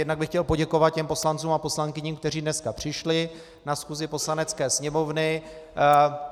Jednak bych chtěl poděkovat těm poslancům a poslankyním, kteří dneska přišli na schůzi Poslanecké sněmovny.